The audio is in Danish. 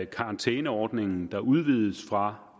karantæneordningen der udvides fra